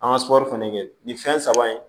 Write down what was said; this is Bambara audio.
An ka sɔ fɛnɛ kɛ nin fɛn saba ye